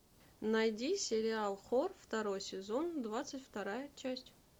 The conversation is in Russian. найди сериал хор второй сезон двадцать вторая часть